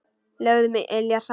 Lögðum iljar saman.